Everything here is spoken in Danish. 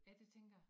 Ja det tænker jeg